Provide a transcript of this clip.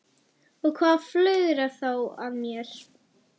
Og hvað flögrar þá að mér?